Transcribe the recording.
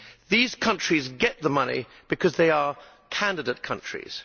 These countries get the money because they are candidate countries.